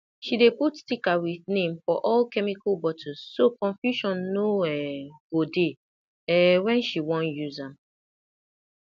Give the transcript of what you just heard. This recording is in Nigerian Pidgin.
she dey put sticker with name for all chemical bottles so confusion no um go dey um wen she wan use am